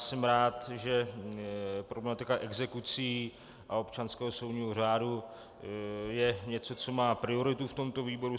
Jsem rád, že problematika exekucí a občanského soudního řádu je něco, co má prioritu v tomto výboru.